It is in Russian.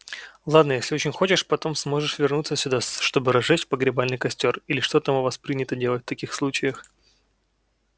ладно если очень хочешь потом сможешь вернуться сюда чтобы разжечь погребальный костёр или что там у вас принято делать в таких случаях